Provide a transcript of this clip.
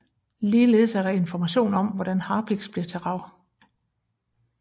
Ligeledes er der information om hvordan harpiks bliver til rav